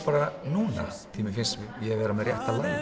núna því mér finnst ég vera með rétta lagið